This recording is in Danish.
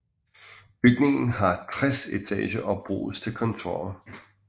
Bygningen har 60 etager og bruges til kontorer